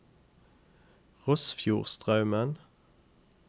Rossfjordstraumen